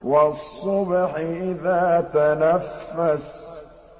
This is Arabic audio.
وَالصُّبْحِ إِذَا تَنَفَّسَ